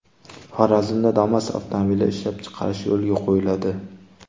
Xorazmda Damas avtomobili ishlab chiqarish yo‘lga qo‘yiladi.